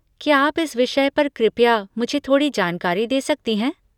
क्या आप इस विषय पर कृपया मुझे थोड़ी जानकारी दे सकती हैं?